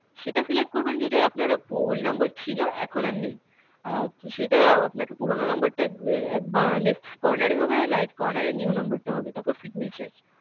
সেটা select করবেন যেটা আপনার old number ছিল, এখন আর নেই. অ্যাঁ তো সেটা আপনাকে পুরনো number টা উম এক বা~ left corner এ হবে আর right corner এ new number টা হবে তারপর signature.